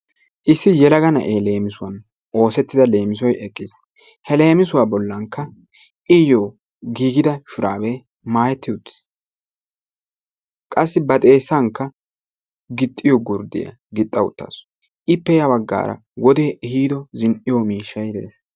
issi yelaga na'ee leemisuwaan oossetidda leemissoy eqqis he leemisuwaa bollankka iyoo giigidashuraabee maayetti uttiis. qassi ba xeessankka gixxiyoo gurddiyaa gixxa uttaasu. ippe ya baggaara wodee ehiido zin"iyoo miishshay de'ees.